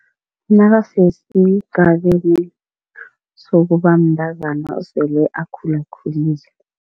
Nakasesigabeni sokubamntazana osele akhulakhulile.